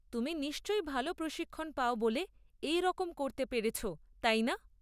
তুমি নিশ্চয়ই ভালো প্রশিক্ষণ পাও বলে এই রকম করতে পেরেছ, তাই না?